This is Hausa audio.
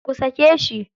Ku sake shi.